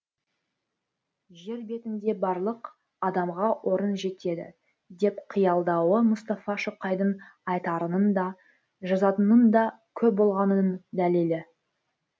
жер бетінде барлық адамға орын жетеді деп қиялдауы мұстафа шоқайдың айтарының да жазатынының да көп болғанының дәлелі